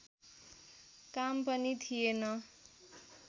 काम पनि थिएन